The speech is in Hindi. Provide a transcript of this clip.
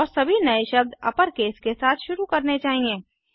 और सभी नए शब्द अपरकेस के साथ शुरू करने चाहिए